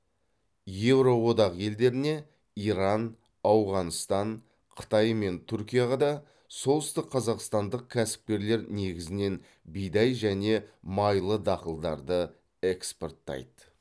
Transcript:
еуроодақ елдеріне иран ауғанстан қытай мен түркияға да солтүстікқазақстандық кәсіпкерлер негізінен бидай және майлы дақылдарды экспорттайды